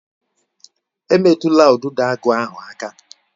Emetụla Udidoagu ahụ aka?